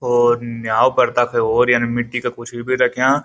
और न्याओं पर तख और यं मिट्टी का कुछ भी रख्याँ।